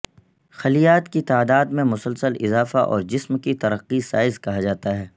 خلیات کی تعداد میں مسلسل اضافہ اور جسم کی ترقی سائز کہا جاتا ہے